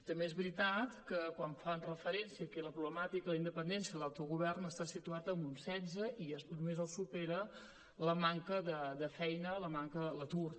també és veritat que quan fan referència a la problemà tica de la independència i l’autogovern està situat en un setze i només el supera la manca de feina l’atur